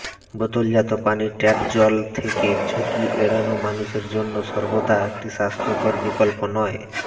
বোতলজাত পানি ট্যাপ জল থেকে ঝুঁকি এড়ানো মানুষের জন্য সর্বদা একটি স্বাস্থ্যকর বিকল্প নয়